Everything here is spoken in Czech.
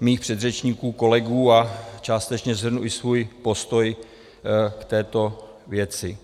mých předřečníků kolegů a částečně shrnu i svůj postoj k této věci.